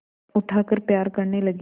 उठाकर प्यार करने लगी